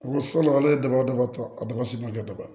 Ko salon ale ye daba daba ta a daba si ma kɛ daba ye